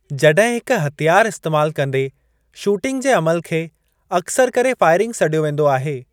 जॾहिं हिक हथियार इस्तेमाल कंदे शूटिंग जे अमलु खे अक्सर करे फ़ाइरिंग सॾियो वेंदो आहे।